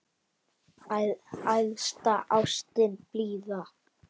Æðsta ástin blíða!